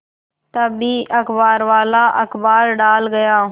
तभी अखबारवाला अखबार डाल गया